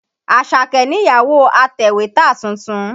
Àṣàkẹ́ nìyàwó atẹ̀wétà tuntun.